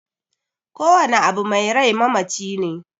Kowane abu mai rai mamaci ne